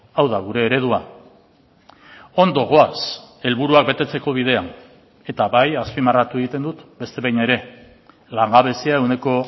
hau da gure eredua ondo goaz helburuak betetzeko bidean eta bai azpimarratu egiten dut beste behin ere langabezia ehuneko